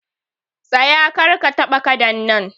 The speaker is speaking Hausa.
Tsaye! Kar ka taba Kadan nan